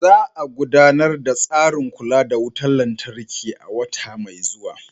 Za a gudanar da tsarin kula da wutar lantarki a wata mai zuwa.